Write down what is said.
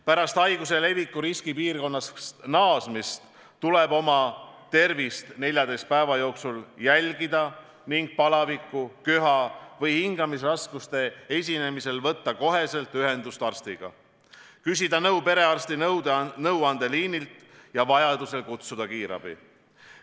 Pärast haiguse leviku riskipiirkonnast naasmist tuleb oma tervist 14 päeva jooksul jälgida ning palaviku, köha või hingamisraskuste esinemisel võtta kohe ühendust arstiga, küsida nõu perearsti nõuandeliinilt ja vajadusel kutsuda kiirabi.